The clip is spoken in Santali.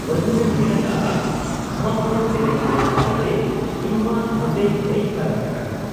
ᱵᱟᱹᱡᱩᱱᱮ ᱢᱮᱱ ᱟᱠᱟᱜ ᱟ, 'ᱜᱷᱟᱢᱟᱜᱷᱩᱲ ᱮᱱᱮᱡ ᱧᱮᱞ ᱠᱟᱛᱮᱜᱮ ᱤᱧᱢᱟ ᱱᱚᱴᱮᱧ ᱦᱮᱡ ᱯᱷᱟᱨᱟᱠ ᱟᱠᱟᱱ ᱾